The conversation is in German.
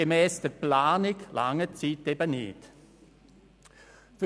Gemäss Planung wird die Zeit jedoch nicht reichen.